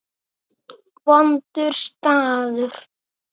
Vondur staður.